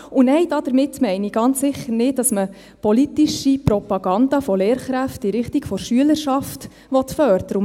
Und nein, damit meine ich ganz bestimmt nicht, dass man politische Propaganda von Lehrkräften in Richtung der Schülerschaft fördern will.